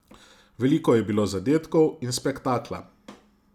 Veliko je bilo zadetkov in spektakla.